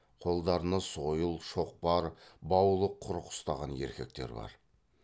қолдарына сойыл шоқпар баулы құрық ұстаған еркектер бар